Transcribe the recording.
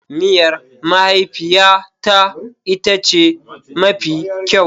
Miyar mahaifiyata ita ce mafi kyau.